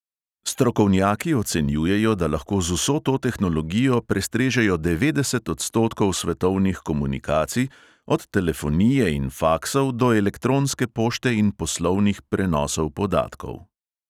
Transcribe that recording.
Strokovnjaki ocenjujejo, da lahko z vso to tehnologijo prestrežejo devetdeset odstotkov svetovnih komunikacij, od telefonije in faksov do elektronske pošte in poslovnih prenosov podatkov.